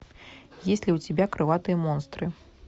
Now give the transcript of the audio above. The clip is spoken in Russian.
есть ли у тебя крылатые монстры